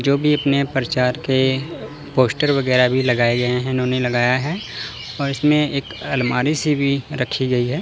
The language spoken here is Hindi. जोकि अपने परचार के पोस्टर वगैरा भी लगाए गए हैं इन्होंने लगाया है और इसमें एक अलमारी सी भी रखी गई है।